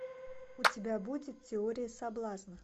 у тебя будет теория соблазна